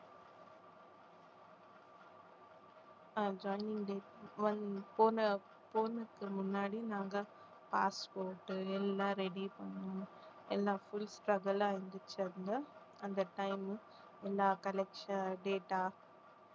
அஹ் joining date வந்து போன~ போனதுக்கு முன்னாடி நாங்க passport எல்லாம் ready பண்ணோம் எல்லா full struggle ஆ இருந்துச்சு அங்க அந்த time எல்லா data